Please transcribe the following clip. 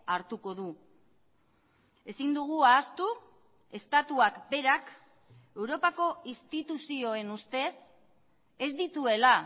hartuko du ezin dugu ahaztu estatuak berak europako instituzioen ustez ez dituela